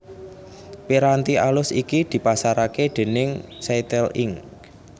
Piranti alus iki dipasaraké déning Cytel Inc